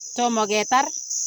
Tomo ketar.